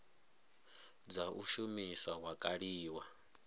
dza u shumisa wa kaliwa